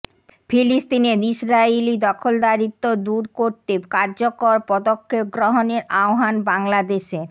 ফিলিস্তিনে ইসরাইলি দখলদারিত্ব দূর করতে কার্যকর পদক্ষেপ গ্রহণের আহ্বান বাংলাদেশের